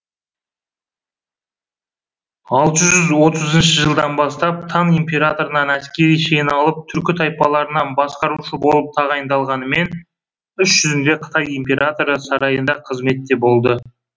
алты жүз отызыншы жылдан бастап таң императорынан әскери шен алып түркі тайпаларына басқарушы болып тағайындалғанымен іс жүзінде қытай императоры сарайында қызметте болды